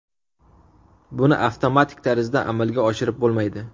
Buni avtomatik tarzda amalga oshirib bo‘lmaydi.